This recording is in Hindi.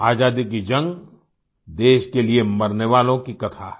आज़ादी की जंग देश के लिए मरने वालों की कथा है